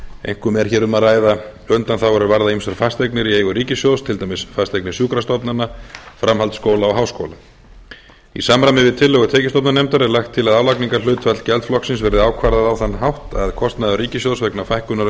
einkum er hér um að ræða undanþágur er varða ýmsar fasteignir í eigu ríkissjóðs til dæmis fasteignir sjúkrastofnana framhaldsskóla og háskóla í samræmi við tillögur tekjustofnanefndar er lagt til að álagningarhlutfall gjaldflokksins verði ákvarðað á þann hátt að kostnaður ríkissjóðs vegna fækkunar undanþága